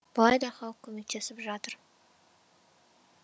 былай да халық көмектесіп жатыр